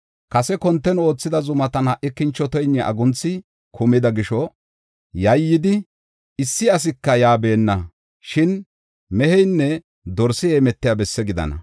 Kase konten oothida zumatan ha77i kinchoteynne agunthi kumida gisho yayyidi, issi asika yaa beenna. Shin meheynne dorsi heemetiya bessi gidana.